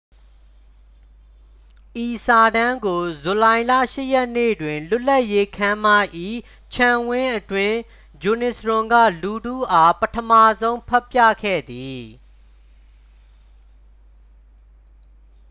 ဤစာတမ်းကို ဇူလိုင်လ 8 ရက်နေ့တွင် လွတ်လပ်ရေးခန်းမ၏ ခြံဝင်းအတွင်း ဂျွန်နီစ်ရွန် က လူထုအား ပထမဆုံး ဖတ်ပြခဲ့သည်